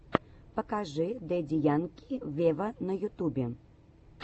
покажи дэдди янки вево на ютубе